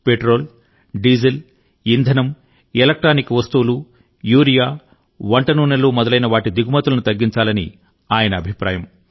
petrol diesel ఇంధనం electronic వస్తువులు urea వంట నూనెలు మొదలైన వాటి దిగుమతులను తగ్గించాలని ఆయన అభిప్రాయం